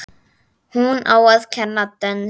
Hún á að kenna dönsku.